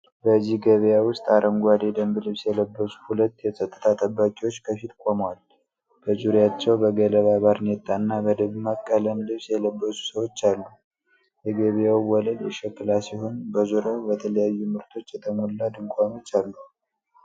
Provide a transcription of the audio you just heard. በዚህ ገበያ ውስጥ፣ አረንጓዴ የደንብ ልብስ የለበሱ ሁለት የጸጥታ ጠባቂዎች ከፊት ቆመዋል። በዙሪያቸው በገለባ ባርኔጣ እና በደማቅ ቀለም ልብስ የለበሱ ሰዎች አሉ። የገበያው ወለል የሸክላ ሲሆን በዙሪያው በተለያዩ ምርቶች የተሞሉ ድንኳኖች አሉ።